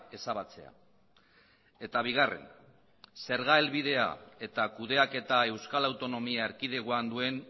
ezabatzea eta bigarren zerga helbidea eta kudeaketa euskal autonomia erkidegoan duen